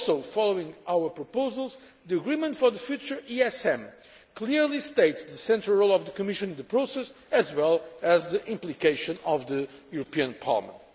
Following our proposals, the agreement for the future ESM clearly states the central role of the Commission in the process, as well as the implication of the European Parliament.